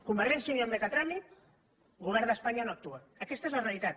convergència i unió admet a tràmit govern d’espanya no actua aquesta és la realitat